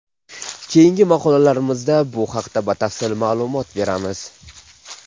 Keyingi maqolalarimizda bu haqda batafsil ma’lumot beramiz.